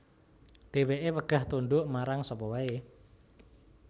Dheweke wegah tunduk marang sapa wae